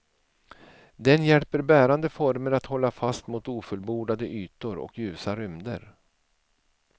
Den hjälper bärande former att hålla fast mot ofullbordade ytor och ljusa rymder.